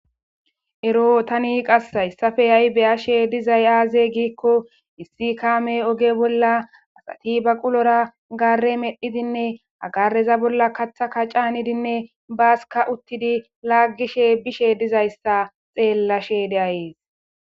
Ero tani qasi haysape hay be'ashe dizay aze giko issi kamey oge bola asati baqulora gare medhidinne ha gareza bola kathaka c'anidinne baska utidi lagishe bishe dizaysa xelashe de'ays.